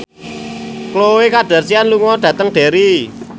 Khloe Kardashian lunga dhateng Derry